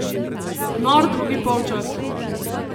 Nor drugi polčas!